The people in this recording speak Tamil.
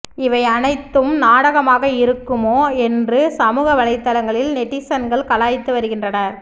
இவை அனைத்தும் நாடகமாக இருக்குமோ என்று சமூக வளைத்தளங்களில் நெட்டிசன்கள் கலாய்த்து வருகின்றனர்